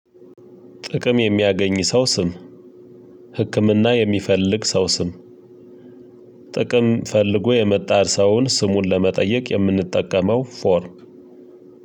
ጥቅም የሚያገኝ ሰው ስም። ህክምና የሚፈልግ ሰው ስም። ጥቅም ፈልጎ የመጣ ሰውን ስሙን ለመጠየቅ የምንጠቀመው ፎርም።